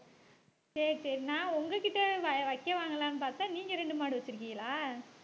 சரி சரி நான் உங்ககிட்ட வை~வைக்க வாங்கலாம்ன்னு பார்த்தா நீங்க ரெண்டு மாடு வச்சிருக்கீங்களா